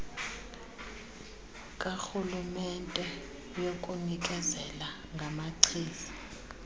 karhulumente yokunikezela ngamachiza